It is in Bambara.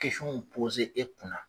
e kunna